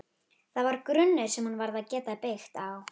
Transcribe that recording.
Það var grunnur sem hún varð að geta byggt á.